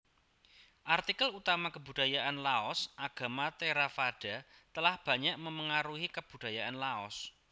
Artikel utama Kebudayaan LaosAgama Theravada telah banyak memengaruhi kebudayaan Laos